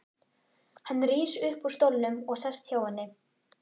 Hann rís upp úr stólnum og sest hjá henni.